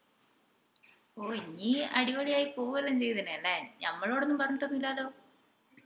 ഓഹ് ഇഞ് അടിപൊളിയായി പോവ്വുയെല്ലൊം ചെയ്യതിനല്ലേ ഞമ്മളോടൊന്നും പറഞ്ഞിട്ടില്ലല്ലോ